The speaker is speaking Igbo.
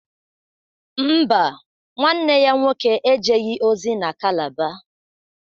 Mba, nwanne ya nwoke ejeghị ozi na Calabar